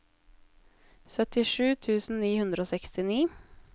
syttisju tusen ni hundre og sekstini